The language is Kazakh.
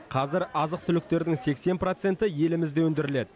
қазір азық түліктердің сексен проценті елімізде өндіріледі